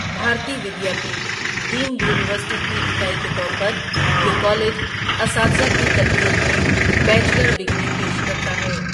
بھارتی Vidyapeeth deemed university کی اکائی کے طور پر یہ کالج اساتذہ کی تربیت میں بیچلر ڈگری پیش کرتا ہے۔